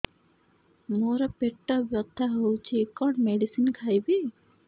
ମୋର ପେଟ ବ୍ୟଥା ହଉଚି କଣ ମେଡିସିନ ଖାଇବି